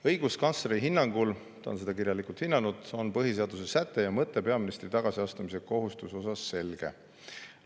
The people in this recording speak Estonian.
Õiguskantsleri hinnangul – ta on seda kirjalikult hinnanud – on põhiseaduse säte ja mõte peaministri tagasiastumise kohustuse kohta selge.